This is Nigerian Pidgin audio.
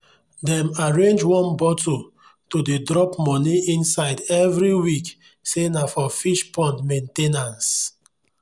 dem arrange one bottle to dey drop moni inside every week say na for fish pond main ten ance.